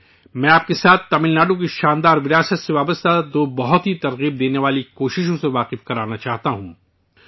میں آپ کے ساتھ تمل ناڈو کی شاندار وراثت سے جڑی دو بہت ہی سبق آموز کوششوں کو شیئر کرنا چاہتا ہوں